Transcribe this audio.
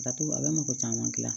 Datugu a bɛ mɔgɔ caman gilan